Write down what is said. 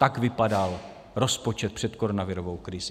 Tak vypadal rozpočet před koronavirovou krizí.